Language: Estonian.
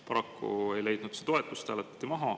Paraku ei leidnud see toetust, hääletati maha.